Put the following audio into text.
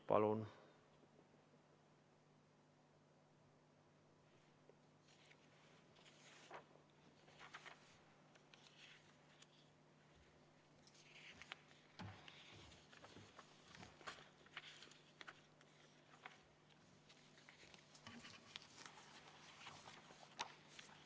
Palun!